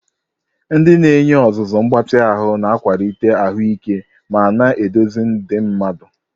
Ndị na-enye ọzụzụ mgbatị ahụ na-akwalite ahụike ma na-eduzi ndị mmadu.